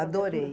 Adorei.